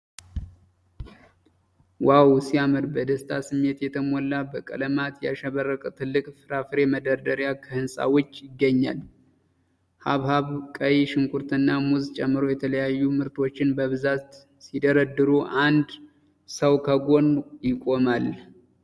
ዋው ሲያምር! በደስታ ስሜት የተሞላ፣ በቀለማት ያሸበረቀ ትልቅ የፍራፍሬ መደርደሪያ ከህንፃ ውጭ ይገኛል። ሐብሐብ፣ ቀይ ሽንኩርትና ሙዝ ጨምሮ የተለያዩ ምርቶች በብዛት ሲደረደሩ፣ አንድ ሰው ከጎን ይቆማል።